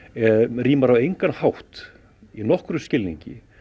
rímar á engan hátt í nokkrum skilningi